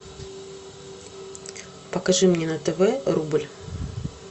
покажи мне на тв рубль